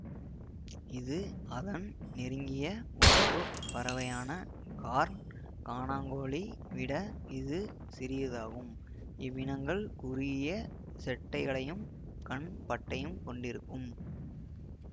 இது அதன் நெருங்கிய உறவு பறவையான கார்ன் கானாங்கோழி விட இது சிறியதாகும் இவ்வினங்கள் குறுகிய செட்டைகளையும் கண் பட்டையும் கொண்டிருக்கும்